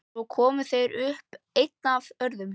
Svo koma þeir upp, einn af öðrum.